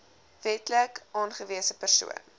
wetlik aangewese persoon